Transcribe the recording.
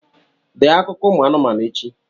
Dee akụkọ ụmụ anụmanụ echi!